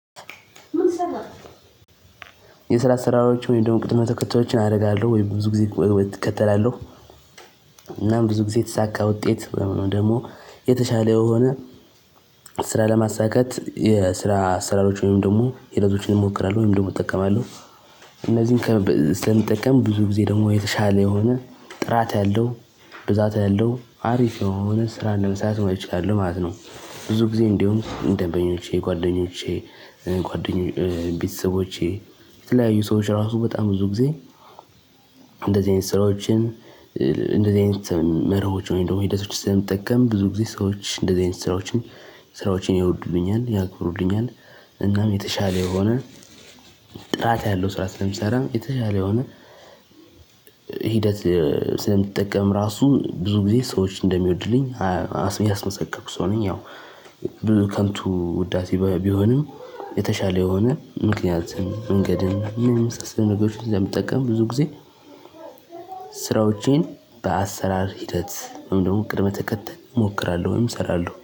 የስራ አሰራሮችን ወይም ደግሞ ቅድመ ተከተሎችን አደርጋለሁ ወይም ብዙ ግዜ እከተላለሁ። እና ብዙ ጊዜ የተሳካ ውጤት ወይም ደግሞ የተሻለ የሆነ ስራ ለማሳካት የስራ አሰራሮች ወይም ደግሞ ሂደቶችን እሞክራለሁ ወይም ደግሞ እጠቀማለሁ። እነዚህን ስለምጠቀም ብዙ ጊዜ ደግሞ የተሻለ የሆነ ጥራት ያለው ብዛት ያለው አሪፍ የሆነ ስራ ለመስራት እችላለሁ ማለት ነው። ብዙ ጊዜ እንደውም ደንበኞቼ ጓደኞቼ ቤተሰቦቼ የተለያዩ ሰዎች ራሱ በጣም ብዙ ጊዜ። እንደዚህ አይነት ስራዎችን እንደዚህ አይነት መርሆችን ወይም ደግሞ ሂደቶች ስለምጠቀም ብዙ ጊዜ ሰዎች እንደዚህ አይነት ስራዎችን ስራዎቼን ይወዱልኛል ያከብሩልኛል። እናም የተሻለ የሆነ ጥራት ያለው ስራ ስለምሰራ የተሻለ የሆነ ሂደት ስለምጠቀም ራሱ ብዙ ጊዜ ሰዎች እንደሚወዱልኝ ያስመሰከርኩ ሰው ነኝ። ያው ከንቱ ውዳሴ ቢሆንም የተሻለ የሆነ ምክንያትን መንገድን እኒህን የመሳሰሉ ነገሮችን ስለምጠቀም ብዙ ጊዜ። ስራዎቼን በአሰራር ሂደት ወይም ደግሞ ቅድመ ተከተል እሞክራለሁ ወይም እሰራለሁ